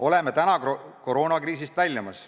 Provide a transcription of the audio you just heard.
Oleme koroonakriisist väljumas.